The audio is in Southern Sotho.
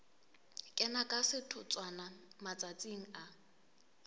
kena ka setotswana matsatsing a